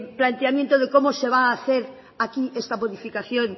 planteamiento de cómo se va a hacer aquí esta modificación